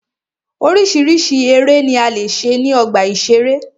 Oríṣiríṣi eré ni a lè ṣe ní ọgbà ìṣeré.